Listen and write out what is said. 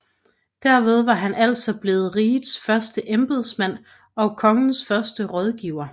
Derved var han altså blevet rigets første embedsmand og Kongens første rådgiver